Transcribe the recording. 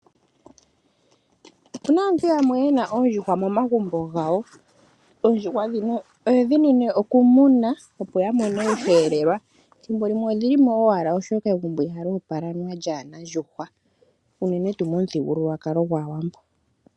Opu na aantu yamwe ye na oondjuhwa momagumbo gawo, oondjuhwa dhimwe oye dhi nine okumuna opo ya mone oshelelwa ethimbo limwe odhi li mo owala oshoka egumbo ihali opala lya na oondjuhwa unene tuu momuthigululwakalo gwAawambo.